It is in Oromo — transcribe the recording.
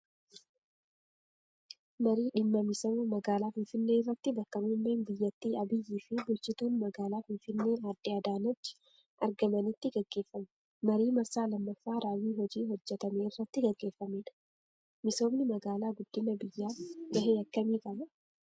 Marii dhimma misooma magaalaa Finfinnee irratti bakka muummeen biyyattii Abiyyii fi bulchituun magaalaa Finfinnee aadde Adaanechi argamanitti gaggeeffame. Marii marsaa lammaffaa raawwii hojii hojjetamee irratti gaggeeffamedha. Misoomni magaalaa guddina biyyaaf gahee akkamii qaba?